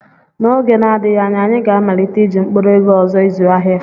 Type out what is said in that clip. N'oge na-adịghị anya, anyị ga-amalite iji mkpụrụ ego ọzọ ịzụ ahịa.